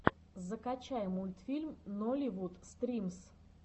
закачай мультфильм нолливуд стримс